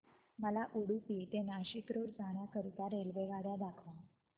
मला उडुपी ते नाशिक रोड जाण्या करीता रेल्वेगाड्या दाखवा